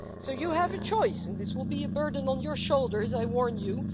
You have a choice, and this will be a burden on your shoulders, I warn you.